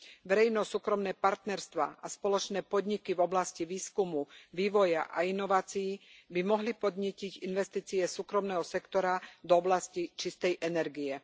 Verejno súkromné partnerstvá a spoločné podniky v oblasti výskumu, vývoja a inovácií by mohli podnietiť investície súkromného sektora do oblasti čistej energie.